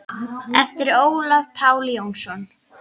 eftir Ólaf Pál Jónsson